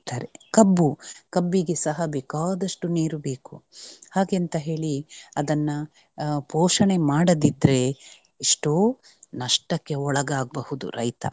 ಕಬ್ಬು ಕಬ್ಬಿಗೆ ಸಹ ಬೇಕಾದಷ್ಟು ನೀರು ಬೇಕು ಹಾಗೆ ಅಂತ ಹೇಳಿ ಅದನ್ನ ಪೋಷಣೆ ಮಾಡದಿದ್ರೆ ಎಷ್ಟೋ ನಷ್ಟಕ್ಕೆ ಒಳಗಾಗ್ ಬಹುದು ರೈತ.